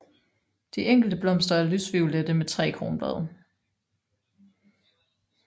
De enkelte blomster er lysviolette med tre kronblade